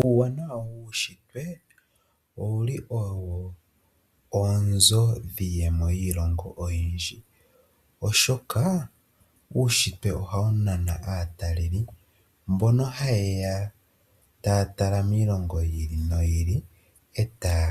Uuwanawa wuushitwe owuli owo oonzo dhiiyemo yiilongo oyindji, oshoka uushitwe ohawu nana aatalelipo mbono haye ya taya tala miilongo yi ili noyi ili, etaya